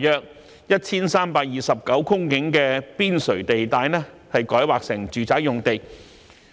約 1,329 公頃的邊陲地帶，改劃成住宅用地。